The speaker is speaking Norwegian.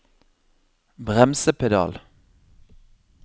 bremsepedal